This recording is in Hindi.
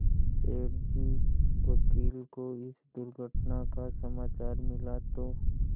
सेठ जी वकील को इस दुर्घटना का समाचार मिला तो